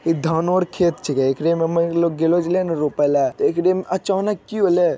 इ धानो आर खेत छिके एकरे में रोपे ले एकरे में अचानक --